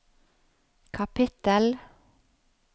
kapittel